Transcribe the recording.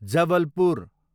Jabalpur